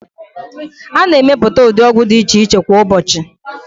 A na-emepụta ụdị ọgwụ dị iche iche kwa ụbọọchị.